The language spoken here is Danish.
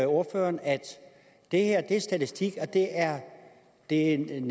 ordføreren at det her er statistik og det er en en